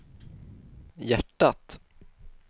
hjärtat